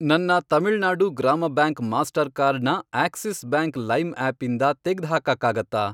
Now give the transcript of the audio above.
ನನ್ನ Tamil Nadu Grama bank Mastercard ನ Axis bank Lime ಆಪಿಂದ ತೆಗ್ದ್ಹಾಕಕ್ಕಾಗತ್ತಾ?